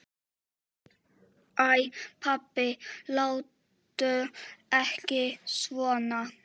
Æ pabbi, láttu ekki svona.